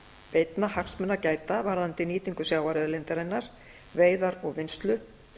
beinna hagsmuna að gæta varðandi nýtingu sjávarauðlindarinnar veiðar og vinnslu